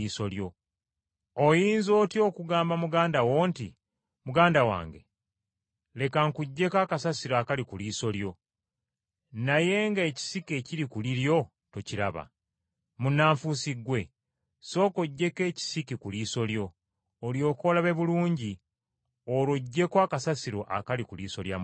Oyinza otya okugamba muganda wo nti, ‘Muganda wange, leka nkuggyeko akasasiro akakuli ku liiso,’ naye nga ekisiki ekiri ku liryo tokiraba? Munnanfuusi ggwe! Sooka oggyeko ekisiki ku liiso lyo, olyoke olabe bulungi olwo oggyeko akasasiro akali ku liiso lya muganda wo.”